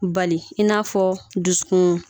Bali in n'a fɔ dusukun